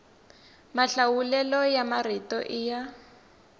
mahlawulelo ya marito i ya